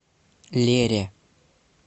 лере